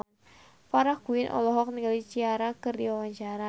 Farah Quinn olohok ningali Ciara keur diwawancara